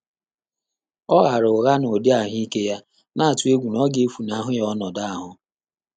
Ọ́ ghààrà ụ́ghá n’ụ́dị́ àhụ́ị́ké yá, nà-àtụ́ égwú nà ọ́ gà-éfúnáhụ́ yá ọnọ́dụ́ áhụ́.